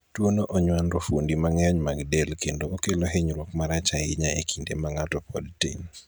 tuono onywando fuondi mang'eny mag del kendo okelo hinyruok marach ahinya e kinde ma ng'ato pod tin